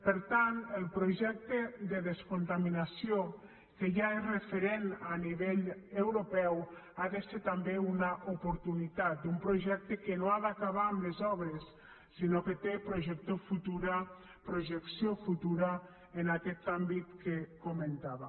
per tant el projecte de descontaminació que ja és referent a nivell europeu ha de ser també una oportunitat un projecte que no ha d’acabar amb les obres sinó que té projecció futura en aquest àmbit que comentava